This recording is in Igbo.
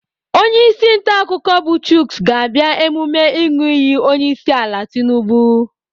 Onyeisi ntaakụkọ bụ Chuks ga-abịa emume ịṅụ iyi onyeisiala Tinubu.